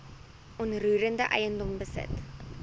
onroerende eiendom besit